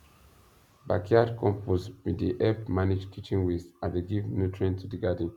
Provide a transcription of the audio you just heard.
backyard compost bin dey help manage kitchen waste and dey give nutrient to di garden